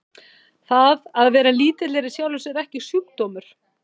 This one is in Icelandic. það að vera lítill er í sjálfu sér ekki sjúkdómur